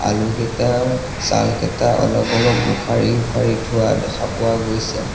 আলুকেইটাৰ ছালকেইটা অলপ অলপ উখাৰি উখাৰি থোৱা দেখা পোৱা গৈছে।